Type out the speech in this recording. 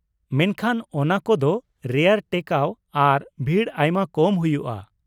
ᱢᱮᱱᱠᱷᱟᱱ ᱚᱱᱟ ᱠᱚᱫᱚ ᱨᱮᱭᱟᱨ ᱴᱮᱠᱟᱣ ᱟᱨ ᱵᱷᱤᱲ ᱟᱭᱢᱟ ᱠᱚᱢ ᱦᱩᱭᱩᱜᱼᱟ ᱾